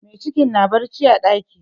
Mai ciki na barci a ɗaki.